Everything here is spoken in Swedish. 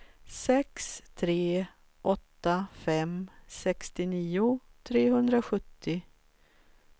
sex tre åtta fem sextionio trehundrasjuttio